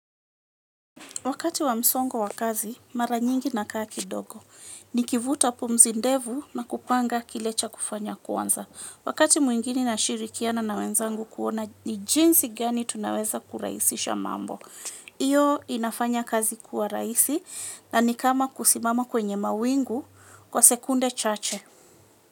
Wakati wa msongo wa kazi, mara nyingi nakaa kidogo. Nikivuta pumzi ndevu na kupanga kile cha kufanya kwanza. Wakati mwingine nashirikiana na wenzangu kuona ni jinsi gani tunaweza kuraisisha mambo. Iyo inafanya kazi kuwa raisi na ni kama kusimama kwenye mawingu kwa sekunde chache.